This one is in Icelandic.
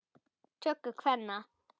töku kvenna.